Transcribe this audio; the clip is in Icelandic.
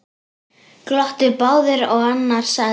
Glottu báðir og annar sagði: